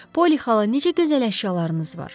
Poli xala, necə gözəl əşyalarınız var.